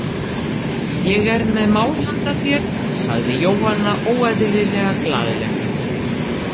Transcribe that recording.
Ég er með mál handa þér, sagði Jóhanna óeðlilega glaðleg.